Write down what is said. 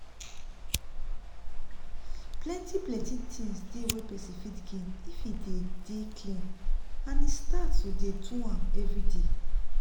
plenti plenti things dey wey pesin fit gain if e dey dey clean and e start to dey do am everyday